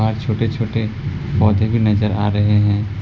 और छोटे छोटे पौधे भी नजर आ रहे हैं।